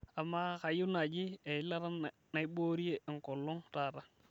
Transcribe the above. amaa kayieu naaji eilata naiboorie enkolong' taata